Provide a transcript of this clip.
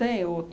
Tenho.